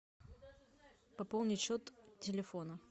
пополнить счет телефона